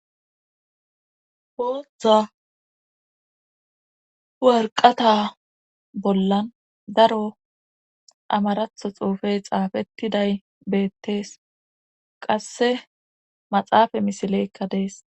Bootha warqata bollan daro amaratho xuufey xaafettiday beettees qasse maxaafa misileykka dees